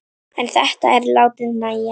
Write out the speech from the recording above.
En þetta er látið nægja.